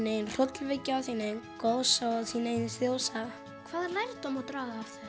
eigin hrollvekja þín eigin goðsaga og þín eigin þjóðsaga hvaða lærdóm má draga af